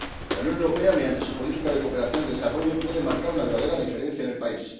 La Unión Europea, mediante su política de cooperación al desarrollo, puede marcar una verdadera diferencia en el país.